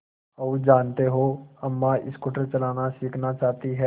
और जानते हो अम्मा स्कूटर चलाना सीखना चाहती हैं